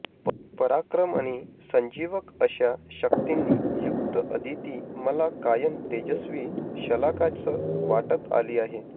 पराक्रम आणि संजीवक अशा शक्तींनी युक्त अदिती मला कायम तेजस्वी शलाकाच वाटत आली आहे